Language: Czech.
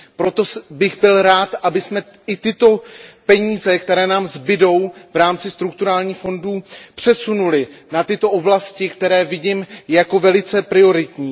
Proto bych byl rád, abychom i tyto peníze, které nám zbydou v rámci strukturálních fondů, přesunuly na tyto oblasti, které vidím jako velice prioritní.